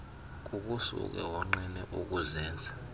kukusuke wonqene ukuzenza